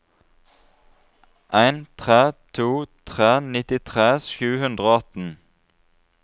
en tre to tre nittitre sju hundre og atten